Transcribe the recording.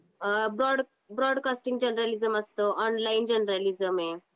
अ broad broadcasting journalism असत. Online journalism आहे.